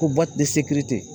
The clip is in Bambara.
Ko